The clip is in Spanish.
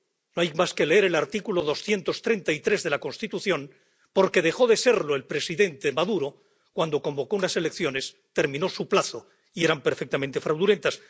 No hay más que leer el artículo 233 de la Constitución dejó de serlo el presidente Maduro cuando convocó unas elecciones, terminó su plazo y eran perfectamente fraudulentas.